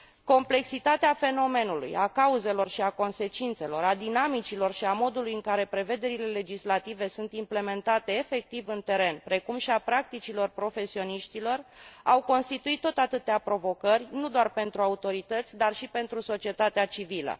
Complexitatea fenomenului, a cauzelor și a consecințelor, a dinamicilor și a modului în care dispozițiile legislative sunt implementate efectiv în teren, precum și a practicilor profesioniștilor, au constituit tot atâtea provocări, nu doar pentru pautorități, dar și pentru societatea civilă.